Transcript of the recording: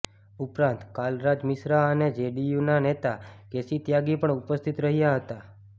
ઉપરાંત કાલરાજ મિશ્રા અને જેડીયુના નેતા કેસી ત્યાગી પણ ઉપસ્થિત રહ્યા હતા